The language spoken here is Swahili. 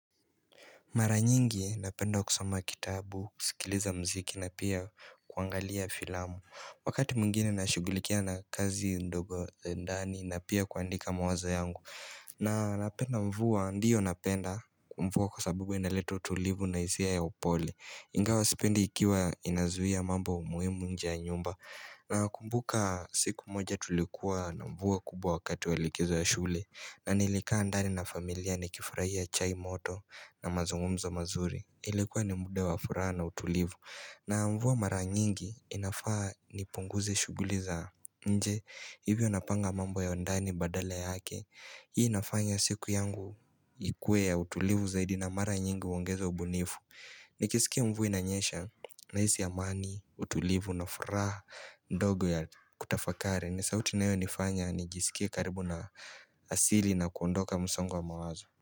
Maranyingi napenda kusama kitabu, sikiliza mziki na pia kuangalia filamu. Wakati mungine na shugulikia na kazi ndogo za ndani na pia kuandika mawazo yangu. Na napenda mvua, ndiyo napenda kumvua kwa sabibu inaleta tulivu na izia ya upole. Ingawa sipendi ikiwa inazuia mambo umuimu nja nyumba. Na kumbuka siku moja tulikuwa na mvua kubwa wakati walikizo ya shule. Na nilikaa ndani na familia ni kifurahia chai moto na mazungumzo mazuri Ilekuwa ni mda wa furaha na utulivu na mvua mara nyingi inafaa ni punguze shuguli za nje Hivyo napanga mambo ya ndani badale yake Hii inafanya siku yangu ikue ya utulivu zaidi na mara nyingi uongeza ubunifu Nikisikia mvua inanyesha na hisi amani utulivu na furaha ndogo ya kutafakari ni sauti na hiyo nifanya ni jisikie karibu na asili na kuondoka musongo wa mawazo.